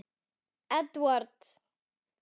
Edward Jón.